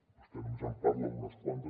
vostè només en parla d’unes quantes